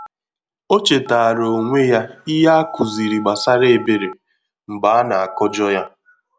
O chetàra onwe ya ìhè a kụziri gbasara ebere mgbe a na-akọjọ ya.